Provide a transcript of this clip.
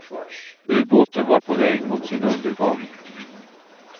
Ubåten var på väg mot sin undergång.